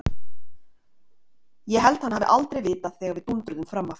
Ég held hann hafi aldrei vitað þegar við dúndruðum fram af.